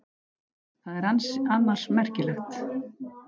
Það er annars merkilegt.